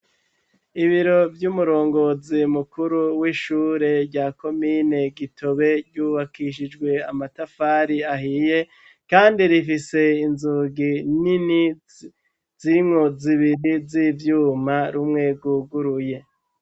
Ibiro vy'umurongozi mukuru w'ishure rya komine Gitobe, ryubakishijwe amatafari ahiye kandi rifise inzugi nini zirimwo zibiri z'ivyuma rumwe gwuguruye